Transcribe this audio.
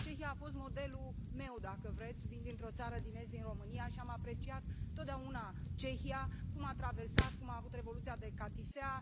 Cehia a fost modelul meu, dacă vreți, vin dintr o țară din est, din România, și am apreciat totdeauna Cehia, cum a traversat, cum a avut Revoluția de catifea.